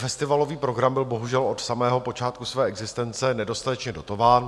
Festivalový program byl bohužel od samého počátku své existence nedostatečně dotován.